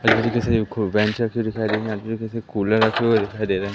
Cooler रखे हुए दिखाई दे रहे है।